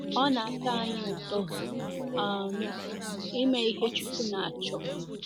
Ọ̀ na - atọ anyị anyị ụtọ um ime ihe Chukwu na-achọ?